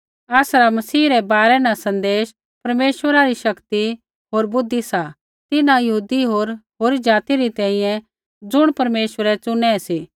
आसरा मसीह रै बारै सन्देश परमेश्वरा री शक्ति होर बुद्धि सा तिन्हां यहूदी होर होरी ज़ाति री तैंईंयैं ज़ुणिबै परमेश्वरै चुनै सी